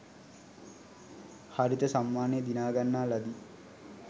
හරිත සම්මානය දිනාගන්නා ලදී